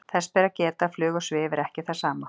þess ber að geta að flug og svif er ekki það sama